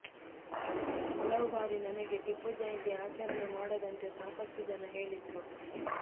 ಹಲವು ಬಾರಿ ನನಗೆ ಟಿಪ್ಪು ಜಯಂತಿ ಆಚರಣೆ ಮಾಡದಂತೆ ಸಾಕಷ್ಟು ಜನ ಹೇಳಿದ್ರು